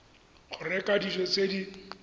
go reka dijo tse di